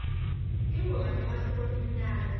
tingoma temasiko timnandzi